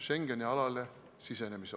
Signe Kivi, palun!